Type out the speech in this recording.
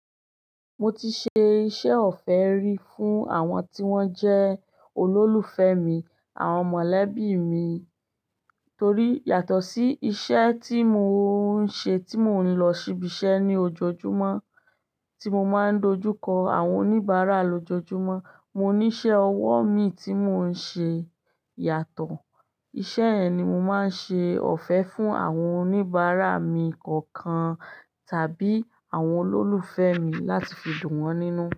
Mo ti ṣe iṣẹ́ ọ̀fẹ́ rí fún àwọn tí wón jẹ́ olólùfẹ́ mi, àwọn mọ̀lẹ́bí mi, torí yàtọ̀ sí iṣẹ́ tí mo ń ṣe tí mò ń lọ ṣibí iṣẹ́ ní ojoojúmọ́ tí mo máa ń dojú kọ àwọn oníbàárà lójojúmọ́. Mo ní iṣẹ́ ọwọ́ mi tí mò ń ṣe yàtọ̀. Iṣẹ́ ẹ ni mo máa ń ṣe ọ̀fẹ́ fún àwọn oníbàárà mi kọ̀ọ̀kan tàbí àwọn olólùfẹ́ mi láti fi dùn wọ́n nínú.